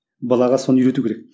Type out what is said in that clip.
балаға соны үйрету керек